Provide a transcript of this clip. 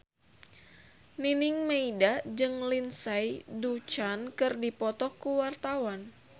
Nining Meida jeung Lindsay Ducan keur dipoto ku wartawan